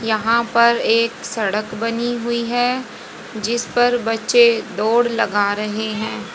यहां पर एक सड़क बनी हुई है जिस पर बच्चे दौड़ लगा रहे हैं।